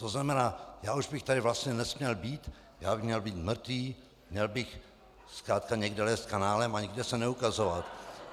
To znamená, já už bych tady vlastně nesměl být, já bych měl být mrtvý, měl bych zkrátka někde lézt kanálem a nikde se neukazovat.